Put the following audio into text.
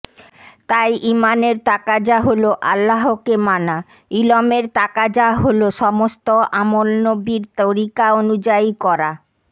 তাই ঈমানের তাকাযা হলো আল্লাহকে মানা ইলমের তাকাযা হলো সমস্ত আমল নবির তরিকা অনুযায়ী করা